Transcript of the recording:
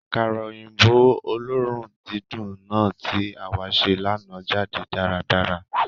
Àkàrà òyìnbó oloorun dídùn náà tí àwá se lánàá jáde dáradára.